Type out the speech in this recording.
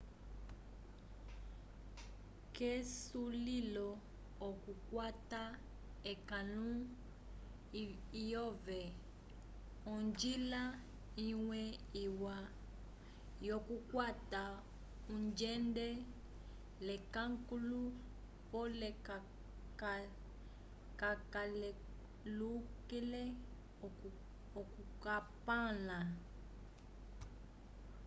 k'esulilo okukwata ekãlu lyove onjila imwe iwa yokukwata ungende l'ekãlu pole kacalelukile okukampala